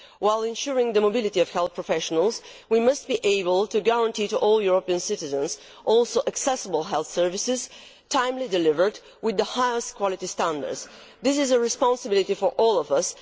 While ensuring the mobility of health professionals, we must also be able to guarantee to all European citizens accessible health services, timely delivered with the highest quality standards. This is a responsibility for all of us.